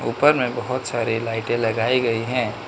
ऊपर में बहोत सारे लाइटें लगाई गई हैं।